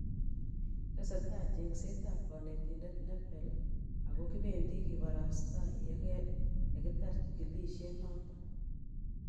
Tesetai cheng'set ab kanetindet nepel ako kipendi kibarastai yekitar chikilisiet noton